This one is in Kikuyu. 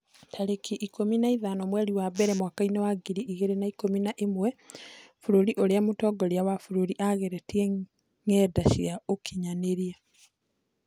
Tarĩki ikũmi na ithano mweri wa mbere mwaka wa ngiri igĩrĩ na ikũmi na ĩmwe Bũrũri ũrĩa mũtongoria wa bũrũri aagirĩtie ngenda cia ũkinyanĩria